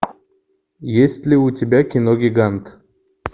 есть ли у тебя кино гигант